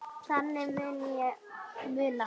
Þannig mun ég muna hana.